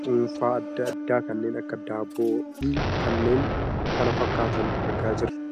cunfaa addaa addaa, kanneen akka daabboo fi kanneen kana fakkaatan argaa jirra.